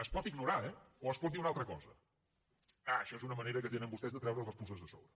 es pot ignorar eh o es pot dir una altra cosa ah això és una manera que tenen vostès de treure’s les puces de sobre